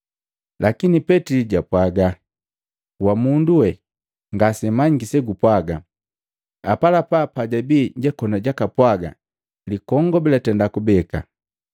Lakini Petili japwaga, “Wamundu wee ngase manyiki segupwaga!” Apalapa pajabii jakoni jakapwaga, likongobi latenda kubeka.